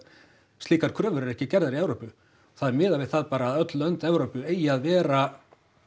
slíkar kröfur eru ekki gerðar í Evrópu það er miðað við það bara að öll lönd í Evrópu eigi að vera